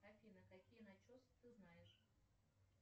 афина какие начесы ты знаешь